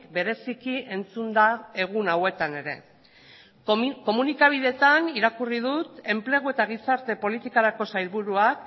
bereziki entzun da egun hauetan ere komunikabideetan irakurri dut enplegu eta gizarte politikarako sailburuak